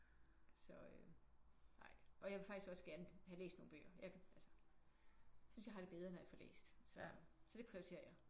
Så øh ej og jeg vil faktisk også gerne have læst nogen bøger. Jeg kan altså jeg synes jeg har det bedre når jeg får læst så så det prioriterer jeg